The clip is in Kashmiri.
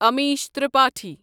امیش ترٛپٲٹھی